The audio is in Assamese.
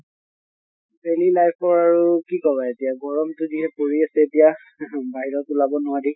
daily life ৰ আৰু কি কʼবা এতিয়া গৰম টো যিহে পৰি আছে এতিয়া ing বাহিৰত ওলাব নোৱাৰি।